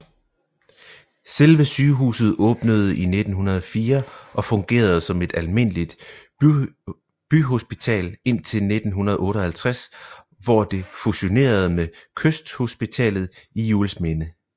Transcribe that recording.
Selve sygehuset åbnede i 1904 og fungerede som et almindeligt byhospital indtil 1958 hvor det fusionerede med Kysthospitalet i Juelsminde